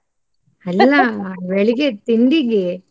ಅಲ್ಲಾ ಬೆಳಿಗ್ಗೆದ್ ತಿಂಡಿಗೆ.